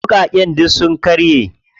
Wuƙaƙen duk sun karye.